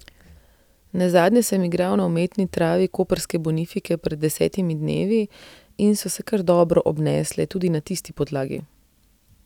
Nazadnje sem igral na umetni travi koprske Bonifike pred desetimi dnevi in so se kar dobro obnesle tudi na tisti podlagi.